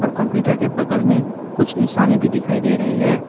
Computer के बगल में कुछ इंसाने भी दिखाई दे रही है।